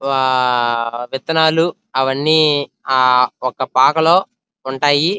ఆహ్ ఆహ్ ఆహ్ విత్తనాలు అవన్నీ ఆహ్ ఒక పాకలో ఉంటాయి --